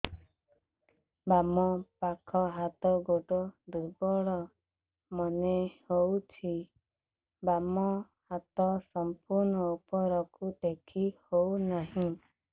ବାମ ପାଖ ହାତ ଗୋଡ ଦୁର୍ବଳ ମନେ ହଉଛି ବାମ ହାତ ସମ୍ପୂର୍ଣ ଉପରକୁ ଟେକି ହଉ ନାହିଁ